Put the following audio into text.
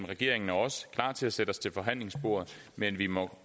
regeringen og os klar til at sætte os til forhandlingsbordet men vi må